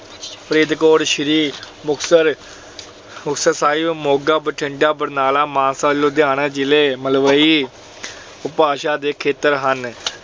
ਫਰੀਦਕੋਟ, ਸ਼੍ਰੀ ਮੁਕਤਸਰ ਅਹ ਮੁਕਤਸਰ ਸਾਹਿਬ, ਮੋਗਾ, ਬਠਿੰਡਾ, ਬਰਨਾਲਾ, ਮਾਨਸਾ, ਲੁਧਿਆਣਾ ਜ਼ਿਲ੍ਹੇ ਮਲਵਈ ਉਪਭਾਸ਼ਾ ਦੇ ਖੇਤਰ ਹਨ। ਰੋਪੜ, ਮੁਹਾਲੀ,